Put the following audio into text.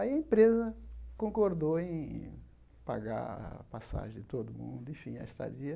Aí a empresa concordou em pagar a passagem de todo mundo, enfim, a estadia.